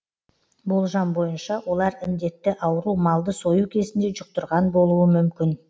болжам бойынша олар індетті ауру малды сою кезінде жұқтырған болуы мүмкін